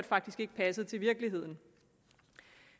faktisk ikke passer til virkeligheden